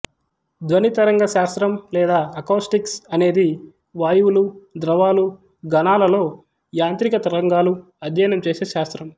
ధ్వనితరంగశాస్త్రం లేదా అకౌస్టిక్స్ అనేది వాయువులు ద్రవాలు ఘనాలలో యాంత్రిక తరంగాలు అధ్యయనం చేసే శాస్త్రం